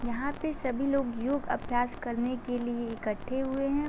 यहाँ पे सभी लोग योग अभ्यास करने के लिए इकट्ठे हुए हैं।